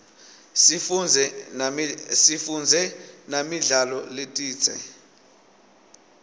sifundze namidlalo letsite